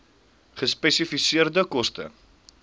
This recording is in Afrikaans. gespesifiseerde koste